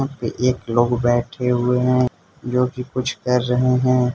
एक लोग बैठे हुए हैं जो की कुछ कर रहे हैं।